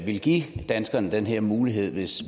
ville give danskerne den her mulighed hvis